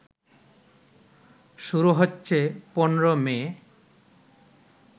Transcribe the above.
শুরু হচ্ছে ১৫ মে